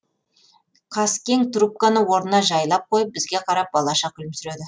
қаскең трубканы орнына жайлап қойып бізге қарап балаша күлімсіреді